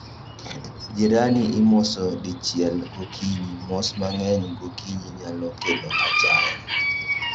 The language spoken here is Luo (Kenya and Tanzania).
Jirani imoso dichiel gokinyi, mos mang'eny gokinyi nyalo kelo achaya